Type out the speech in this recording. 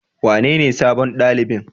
Wanene sabon ɗalibin?